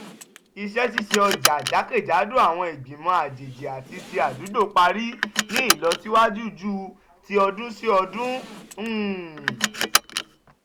iṣẹ́-ṣiṣe ọjà jákèjádò àwọn ìgbìmọ̀ àjèjì àti ti àdúgbò parí ní ìlọsíwájú ju ti ọdún-sí-ọdún. um